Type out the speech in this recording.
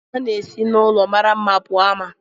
A na-esi n'ulọ mara mma pụọ ama.